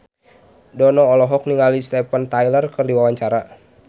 Dono olohok ningali Steven Tyler keur diwawancara